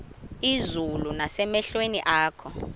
izulu nasemehlweni akho